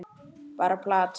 Bara plat.